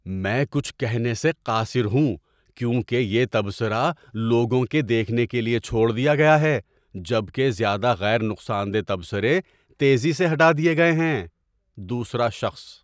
میں کچھ کہنے سے قاصر ہوں کیونکہ یہ تبصرہ لوگوں کے دیکھنے کے لیے چھوڑ دیا گیا ہے جبکہ زیادہ غیر نقصان دہ تبصرے تیزی سے ہٹا دیے گئے ہیں۔ (دوسرا شخص)